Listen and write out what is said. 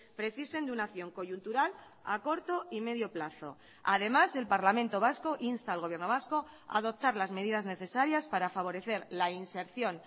precisen de una acción coyuntural a corto y medio plazo además el parlamento vasco insta al gobierno vasco a adoptar las medidas necesarias para favorecer la inserción